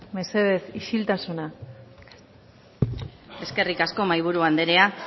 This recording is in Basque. mesedez isiltasuna eskerrik asko mahaiburu andrea